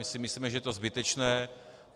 My si myslíme, že je to zbytečné.